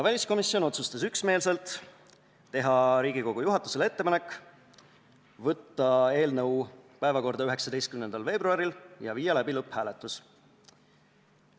Väliskomisjon otsustas üksmeelselt teha Riigikogu juhatusele ettepaneku saata eelnõu päevakorda 19. veebruariks ja viia läbi lõpphääletus.